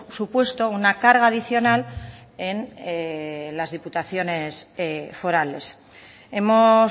supuesto una carga adicional en las diputaciones forales hemos